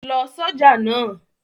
Lọ ṣọ̀já náà!